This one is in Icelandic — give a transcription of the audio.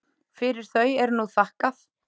Fyrir þau er nú þakkað.